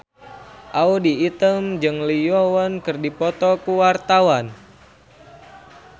Audy Item jeung Lee Yo Won keur dipoto ku wartawan